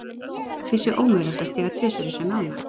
Því sé ómögulegt að stíga tvisvar í sömu ána.